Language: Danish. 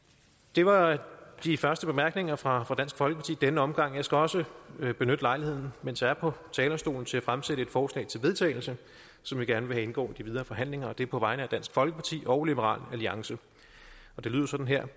det var de første bemærkninger fra fra dansk folkeparti i denne omgang jeg skal også benytte lejligheden mens jeg er på talerstolen til at fremsætte et forslag til vedtagelse som vi gerne vil have indgår i de videre forhandlinger og det er på vegne af dansk folkeparti og liberal alliance det lyder sådan her